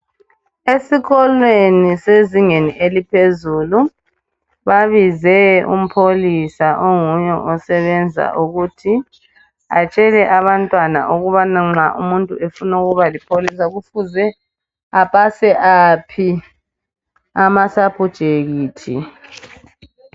Esikolweni sezingeni eliphezulu babize umpholisa onguye osebenza ukuthi atshele abantwana ukubana nxa umuntu efuna ukuba lipholisa kufuze apase aphi amasapujekithi.